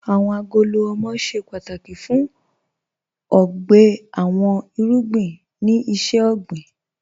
Awọn agolo ọmọ ṣẹ pátákì fún ọgbè àwọn irugbìn ni iṣẹ̀-ọgbìN